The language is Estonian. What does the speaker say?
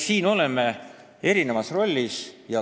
Nii et me oleme siin eri rollides.